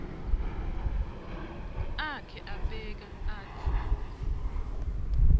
akhe abeka atsi